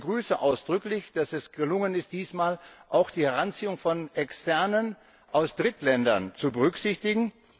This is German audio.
Ich begrüße ausdrücklich, dass es diesmal gelungen ist, auch die Hinzuziehung von Externen aus Drittländern zur berücksichtigen.